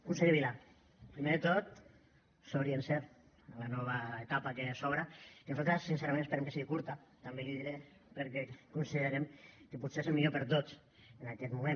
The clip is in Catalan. conseller vila primer de tot sort i encert en la nova etapa que s’obre que nosaltres sincerament esperem que sigui curta també l’hi diré perquè considerem que potser és el millor per a tots en aquest moment